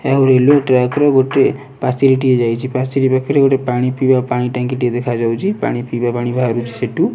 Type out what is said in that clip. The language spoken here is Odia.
ଆଉ ରେଲୁଁଏ ଟ୍ରାକ ଗୋଟି ପାଚେରୀ ଟିଏ ଯାଇଛି ପାଚେରୀ ପାଖରେ ଗୋଟେ ପାଣି ପିଇବା ପାଣି ଟାଙ୍ଗୀ ଟେ ଦେଖାଯାଉଛି ପାଣି ପିଇବା ପାଣି ବାହାରୁଚି ସେଠୁ।